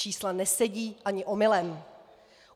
Čísla nesedí ani omylem.